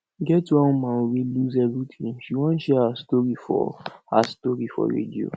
e get one woman wey lose everything she wan share her story for her story for radio